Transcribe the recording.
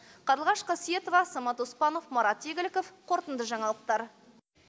қарлығаш қасиетова самат оспанов марат игіліков қорытынды жаңалықтар